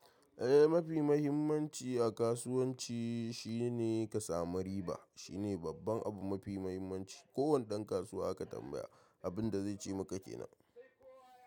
Eh, mafi mahimmanci a kasuwanci shine ka samu riba. Shi ne babban abu mafi mahimmanci. Ko wani ɗan kasuwa ka tambaya, abun da zai ce maka kenan.